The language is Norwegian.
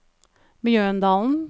Mjøndalen